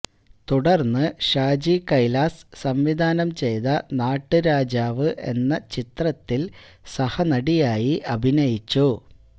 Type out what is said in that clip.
തുടര്ന്ന് ഷാജി കൈലാസ് സംവിധാനം ചെയ്ത നാട്ടുരാജാവ് എന്ന ചിത്രത്തില് സഹനടിയായി അഭിനയിച്ചു